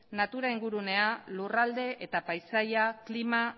natura ingurunea lurralde eta paisaia klima